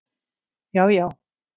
Já já